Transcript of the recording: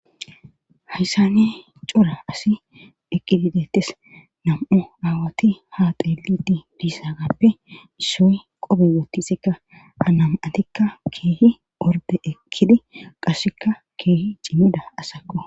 Hayssane cora asi eqqididettes nam'u aawati ha xeelidi dissa gappe issoy qobe wottisekka hanam atikka keehi orde ekkidi qassekka keehi cimeda asakko.